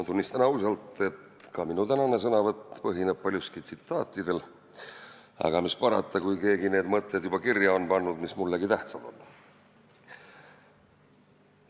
Ma tunnistan ausalt, et ka minu tänane sõnavõtt põhineb paljuski tsitaatidel, aga mis parata, kui keegi need mõtted, mis mullegi tähtsad on, juba kirja on pannud.